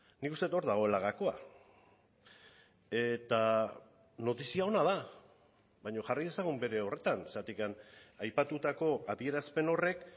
nik uste dut hor dagoela gakoa eta notizia ona da baina jarri dezagun bere horretan zergatik aipatutako adierazpen horrek